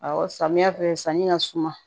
Ɔwɔ samiyɛ fɛ sanni ka suma